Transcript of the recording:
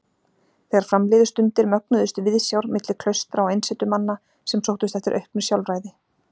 Þegar fram liðu stundir mögnuðust viðsjár milli klaustra og einsetumanna sem sóttust eftir auknu sjálfræði.